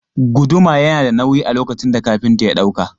Guduma yana da nauyi a lokacin da kafinta ya ɗauka.